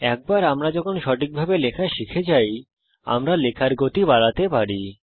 একবার যখন আমরা সঠিকভাবে লেখা শিখে যাই আমরা লেখার গতি বাড়াতে পারি